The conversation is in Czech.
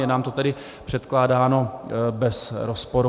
Je nám to tedy předkládáno bez rozporu.